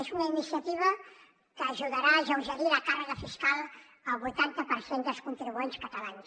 és una iniciativa que ajudarà a alleugerir la càrrega fiscal al vuitanta per cent dels contribuents catalans